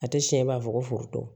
A tɛ siɲɛ b'a fɔ ko foroto